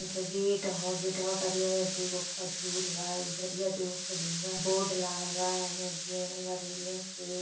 ई gate ह ओ गेटवा करिए बाटे दुगो खजूल बा एधार दुगो खजूल बा। बोर्ड लागल बा एने गेडल बा रेलिंग से।